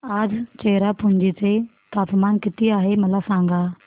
आज चेरापुंजी चे तापमान किती आहे मला सांगा